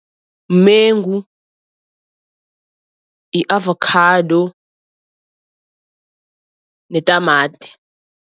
Mengu, i-avokhado netamati.